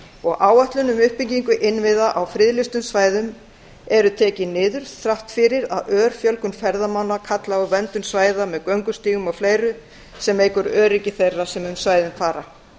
og áætlun um uppbyggingu innviða á friðlýstum svæðum eru tekin niður þrátt fyrir að ör fjölgun ferðamanna hrópi á verndun svæða með göngustígum og fleiru sem eykur einnig öryggi þeirra sem um svæðin fara